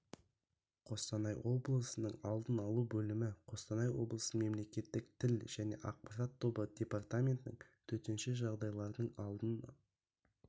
қостанай облысының алдын алу бөлімі қостанай облысының мемлекеттік тіл және ақпарат тобы департаменттің төтенше жағдайлардың алдын